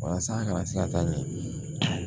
Walasa a kana se ka taa ɲɛ